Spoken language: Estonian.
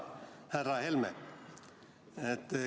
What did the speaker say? Hea härra Helme!